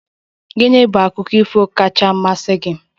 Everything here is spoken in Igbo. Gịnị bụ akụkọ ifo Ọkacha mmasị gi?